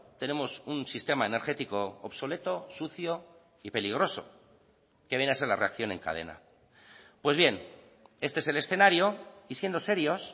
tenemos un sistema energético obsoleto sucio y peligroso que viene a ser la reacción en cadena pues bien este es el escenario y siendo serios